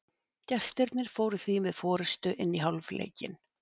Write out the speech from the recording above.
Gestirnir fóru því með forystu inn í hálfleikinn.